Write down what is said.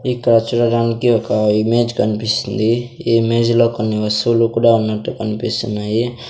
ఇక్కడ చూడడానికి ఒక ఇమేజ్ కన్పిస్తుంది ఈ ఇమేజ్ లో కొన్ని వస్తువులు కూడా ఉన్నట్టు కన్పిస్తున్నాయి.